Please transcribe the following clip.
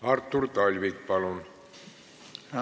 Artur Talvik, palun!